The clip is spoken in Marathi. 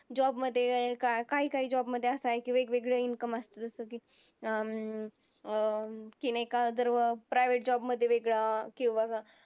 job मध्ये काही काही job मध्ये असं आहे की वेगवेगळे income असतात जसं की अं एका जर private job मध्ये वेगळा किंवा